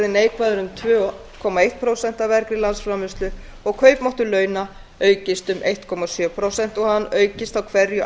neikvæður um tvö komma eitt prósent af vergri landsframleiðslu og kaupmáttur launa aukist um einn komma sjö prósent og hann aukist á hverju